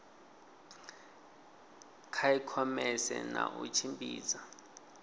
kha ikhomese na u tshimbidza